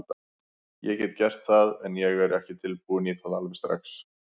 Ég get gert það, en ég er ekki tilbúinn í það alveg strax.